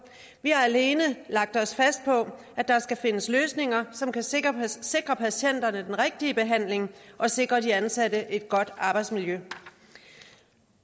vi har alene lagt os fast på at der skal findes løsninger som kan sikre sikre patienterne den rigtige behandling og sikre de ansatte et godt arbejdsmiljø